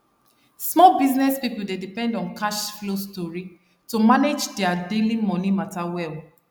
small business people dey depend on cash flow stori to manage their daily money matter well